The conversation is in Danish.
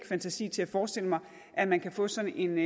fantasi til at forestille mig at man kan få sådan en